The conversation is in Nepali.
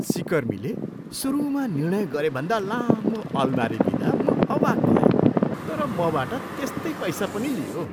सिकर्मीले सुरुमा निर्णय गरेभन्दा लामो अलमारी दिँदा म अवाक भएँ, तर मबाट त्यस्तै पैसा पनि लियो।